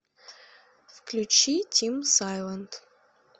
включи тим сайлент